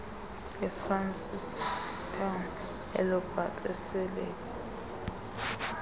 efrancistown elobatse eselebi